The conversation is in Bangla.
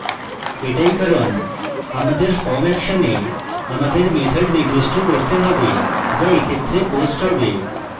এটাই কারণ আমাদের form action a আমাদের method নির্দিষ্ট করতে হবে যা এক্ষেত্রে post হবে